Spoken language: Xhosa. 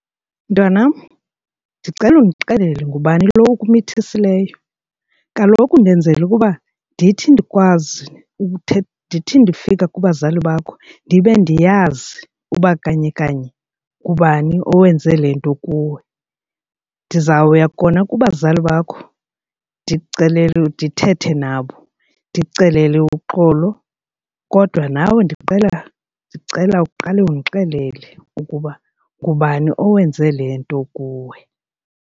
Mntwanam, ndicela undixelele ngubani lo okumithisileyo. Kaloku ndenzela ukuba ndithi ndikwazi ndithi ndifika kubazali bakho ndibe ndiyazi uba kanye kanye ngubani owenze le nto kuwe. Ndizawuya kona kubazali bakho ndikucelele, ndithethe nabo ndikucelele uxolo kodwa nawe ndicela uqale undixelele ukuba ngubani owenze le nto kuwe.